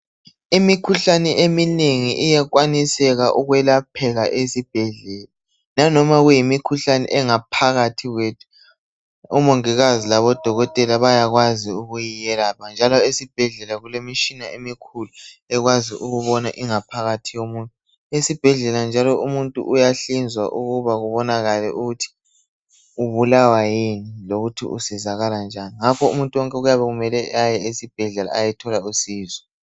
Imikhuhlane eminengi iyakwaniseka ukwelapheka esibhedlela. Lanoma kuyimikhuhlane engaphakathi kwethu omongikazi labodokotela bayakwazi ukuyelapha njalo esibhedlela kulemitshina emikhulu ekwazi ukubona ingaphakathi yomuntu. Esibhedlela njalo umuntu uyahlinzwa ukuba kubonakale ukuthi ubulawa yini lokuthi usizakala njani ngakho umuntu wonke kuyabe kumele aye esibhedlela ayethola usizo.